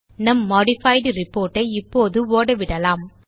நம் modified report ஐ இப்போது ஓடவிடலாம்